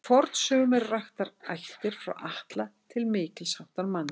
Í fornsögum eru raktar ættir frá Atla til mikils háttar manna.